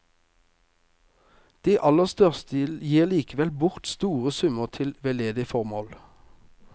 De aller største gir likevel bort store summer til veldedige formål.